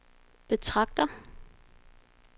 betragter